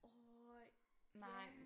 Øh ja